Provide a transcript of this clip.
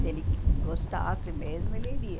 Se ele gostasse mesmo, ele iria.